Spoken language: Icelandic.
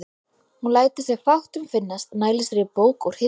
Hún lætur sér fátt um finnast, nælir sér í bók úr hillu.